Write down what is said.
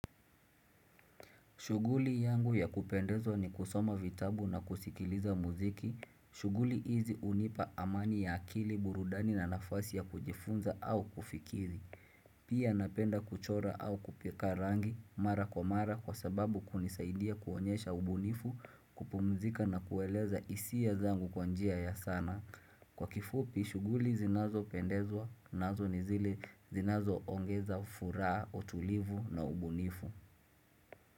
Shuguli yangu ya kupendezwa ni kusoma vitabu na kusikiliza muziki shuguli hizi unipa amani ya akili, burudani na nafasi ya kujifunza au kufikiri Pia napenda kuchora au kupaka rangi mara kwa mara kwa sababu kunisaidia kuonyesha ubunifu, kupumzika na kueleza hisia zangu kwa njia ya sanaa, kwa kifupi, shuguli zinazo pendezwa, nazo ni zile zinazo ongeza furaha, utulivu na ubunifu.